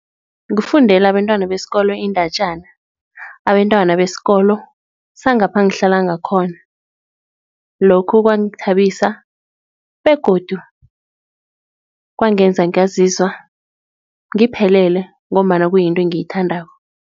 Kufundela abentwana besikolo iindatjana, abentwana besikolo sangapha ngihlala ngakhona lokhu kwangithabisa begodu, kwangenza ngazizwa ngiphelele ngombana kuyinto engiyithandako.